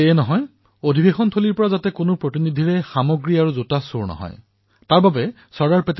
এয়াই নহয় অধিৱেশনস্থলীৰ পৰা কোনো প্ৰতিনিধিৰে যাতে সামগ্ৰী অথবা জোতা চুৰি নহয় তাৰ প্ৰতিও তেওঁ লক্ষ্য ৰাখিছিল